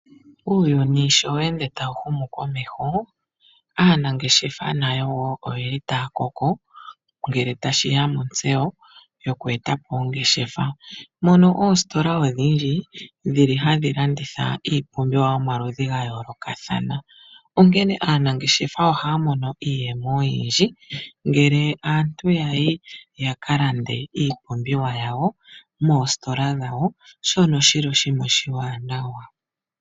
Uuyuni sho we ende tawu humu komeho, aanangeshefa nayo oye li taya koko, ngele tashi ya montseyo yoku e ta po ongeshefa, mono oositola odhindji dhili hadhi landitha iipumbiwa yomaludhi ga yoolokathana. Onkene aanangeshefa ohaya mono iiyemo oyindji, ngele aantu ya yi ya ka lande iipumbiwa yawo moositola dhawo, shono shili oshinima oshiwaanawa.